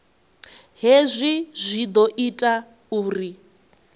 hezwi zwi ḓo ita uri